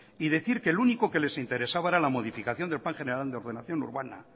y decir que el único que les interesaba era la modificación del plan general de ordenación urbana